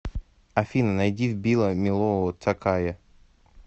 афина найди вбила милого такая